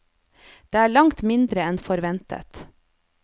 Det er langt mindre enn forventet.